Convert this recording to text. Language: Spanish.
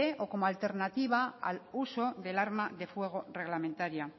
o como alternativa al uso del arma de fuego reglamentaria